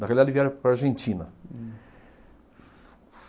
Na realidade, vieram para a Argentina.